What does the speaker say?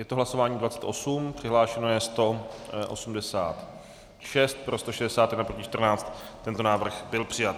Je to hlasování 28, přihlášeno je 186, pro 161, proti 14, tento návrh byl přijat.